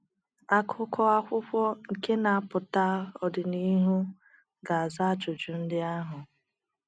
akuko akwụkwo nke n'apụta ọdịnịhụ ga aza ajụjụ ndi ahụ